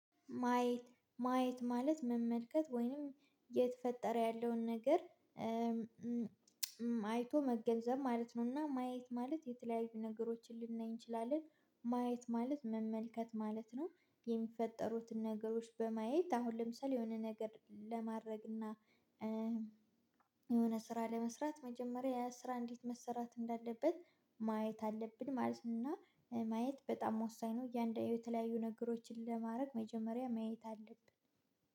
ማየት ማየት ማለት መመልከት ወይንም እየተፈጠረ ያለውን ነገር አይቶ መገንዘብ ማለት ነው። እና ማየት ማለት የተለያዩ ነገሮችን ልናይ እንችላለን። ማየት ማለት መመልከት ማለት ነው። የሚፈጠሩትን ነገሮች በማየት አሁን ለምሳሌ የሆነ ነገር ለማድረግ እና የሆነ ስራ ለመስራት መጀመሪያ ያስራ እንዴት መሰራት እንዳለበት ማየት አለብን። ማለት እና ማየት በጣም ወሳኝ ነው። እያንዳንዱ የተለያዩ ነገሮችን ለማድረግ መጀመሪያ ማየት አለብን